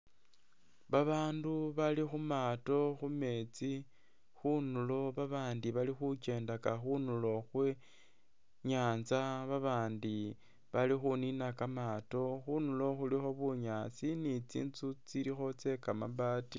Babaandu bali khu maato khu meetsi khunuulo, babaandi bali khukendaka khunuulo khwe i'nyaanza, babaandi bali khuniina kamaato, khunuulo khulikho bunyaasi ni tsinzu tsilikho tsye kamabaati.